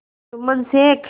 Jumman Sheikh